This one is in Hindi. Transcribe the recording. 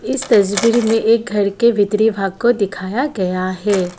इस तस्वीर में एक घर के भीतरी भाग को दिखाया गया है।